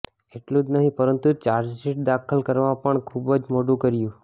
એટલું જ નહીં પરંતુ ચાર્જશીટ દાખલ કરવામાં પણ ખુબ જ મોડું કર્યું